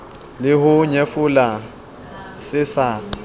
le ho nyefola se sa